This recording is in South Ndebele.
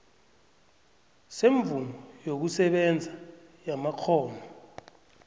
semvumo yokusebenza yamakghono